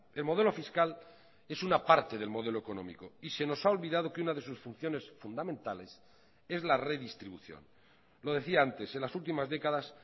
el modelo fiscal es una parte del modelo económico y se nos ha olvidado que una de sus funciones fundamentales es la redistribución lo decía antes en las últimas décadas